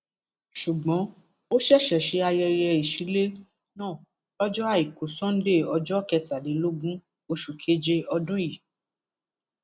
ṣùgbọn ó ṣẹṣẹ ṣe ayẹyẹ ìsilẹ náà lọjọ àìkú sannde ọjọ kẹtàlélógún oṣù keje ọdún yìí